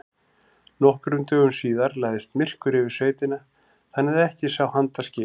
Nokkrum dögum síðar lagðist myrkur yfir sveitina þannig að ekki sá handa skil.